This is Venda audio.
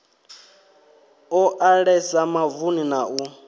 o ḓalesa mavuni na u